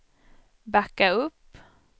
backa upp